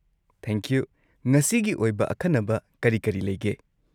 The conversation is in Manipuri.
ꯊꯦꯡꯀ꯭ꯌꯨ꯫ ꯉꯁꯤꯒꯤ ꯑꯣꯏꯕ ꯑꯈꯟꯅꯕ ꯀꯔꯤ ꯀꯔꯤ ꯂꯩꯒꯦ?